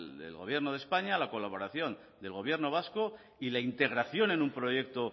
del gobierno de españa la colaboración del gobierno vasco y la integración en un proyecto